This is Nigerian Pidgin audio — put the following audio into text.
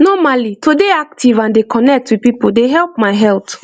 normally to dey active and dey connect with people dey help my health